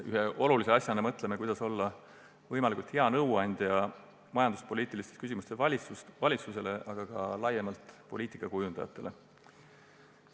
Ühe olulise asjana mõtleme selle peale, kuidas olla majanduspoliitilistes küsimustes võimalikult hea nõuandja valitsusele, aga ka poliitikakujundajatele laiemalt.